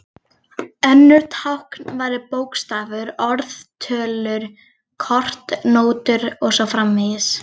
Önnur tákn væru bókstafir, orð, tölur, kort, nótur og svo framvegis.